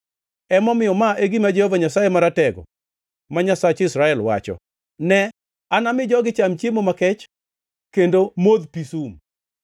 Emomiyo, ma e gima Jehova Nyasaye Maratego ma Nyasach Israel, wacho: “Ne, anami jogi cham chiemo makech kendo modh pi sum.